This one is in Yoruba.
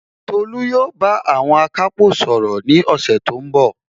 Tolu yóò bá àwọn akápò sọ̀rọ̀ ní ọ̀sẹ̀ tó ń bọ̀